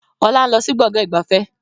Ọlá ń lọ sí Gbọ̀ngán ìgbafẹ́